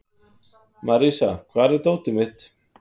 Marísa, hvar er dótið mitt?